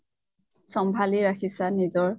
ছম্ভালি ৰাখিচা নিজৰ